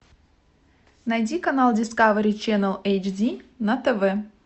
найди канал дискавери ченел эйч ди на тв